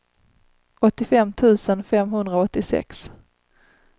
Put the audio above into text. åttiofem tusen femhundraåttiosex